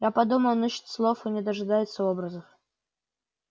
я подумал он ищет слов или дожидается образов